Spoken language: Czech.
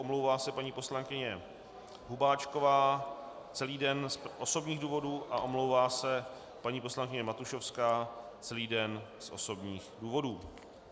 Omlouvá se paní poslankyně Hubáčková celý den z osobních důvodů a omlouvá se paní poslankyně Matušovská celý den z osobních důvodů.